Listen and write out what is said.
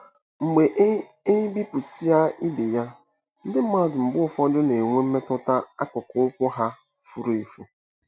Mgbe e e bepụsịa ibe ya, ndị mmadụ mgbe ụfọdụ “na-enwe mmetụta” akụkụ ụkwụ ha furu efu.